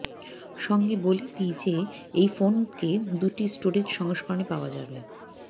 সঙ্গে বলে দি যে এই ফোন কে দুটি স্টোরেজ সংস্করনে পাওয়া যাবে